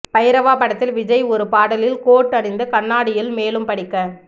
பைரவா படத்தில் விஜய் ஒரு பாடலில் கோட் அணிந்து கண்ணாடியில் மேலும் படிக்க